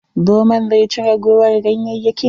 Zomon zai ci ragowar ganyayyakin.